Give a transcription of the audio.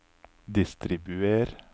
distribuer